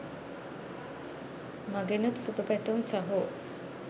මගෙනුත් සුභ පැතුම් සහෝ